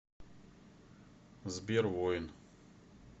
сбер воин